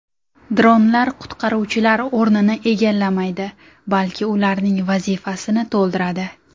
Dronlar qutqaruvchilar o‘rnini egallamaydi, balki ularning vazifasini to‘ldiradi.